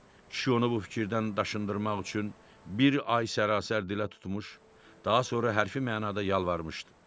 Kişi onu bu fikirdən daşındırmaq üçün bir ay sərasər dilə tutmuş, daha sonra hərfi mənada yalvarmışdı.